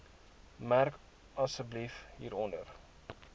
merk asseblief hieronder